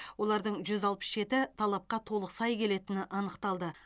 олардың жүз алпыс жеті талапқа толық сай келетіні анықталды